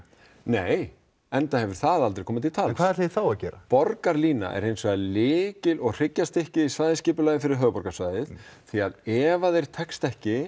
nei enda hefur það aldrei komið til tals en hvað ætlið þið þá að gera borgarlína er hins vegar lykil og hryggjarstykki í svæðisskipulagi fyrir höfuðborgarsvæðið því að ef þér tekst ekki